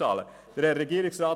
Herr Regierungsrat